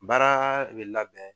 Baaraa de labɛn